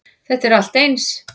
Þetta er allt eins.